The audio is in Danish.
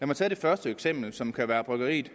mig tage det første eksempel som kunne være bryggeriet